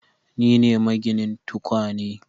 Ni ne, maginin tukwane